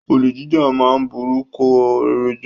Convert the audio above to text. Olè jíjà ma ń borúkọ rere jẹ́.